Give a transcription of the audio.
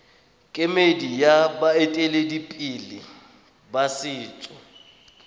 kemedi ya baeteledipele ba setso